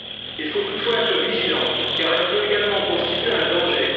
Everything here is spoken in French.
Il faut toutefois être vigilant, car elle peut également constituer un danger.